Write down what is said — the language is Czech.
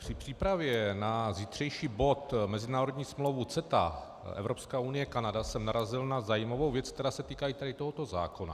Při přípravě na zítřejší bod mezinárodní smlouva CETA Evropská unie - Kanada jsem narazil na zajímavou věc, která se týká i tady tohoto zákona.